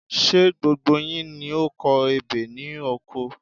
Ṣé gbogbo yín ni o kọ ebè ni oko?